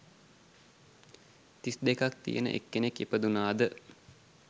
තිස් දෙකක් තියෙන එක් කෙනෙක් ඉපදුණාද?